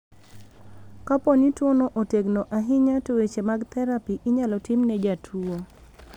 Ka poni tuo no otegno ahinya to weche mag therapy inyalo tim ne jatuo.